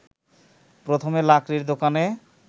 প্রথমে লাকড়ির দোকানে